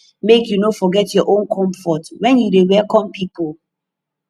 make you no forget your own comfort wen you dey welcome pipu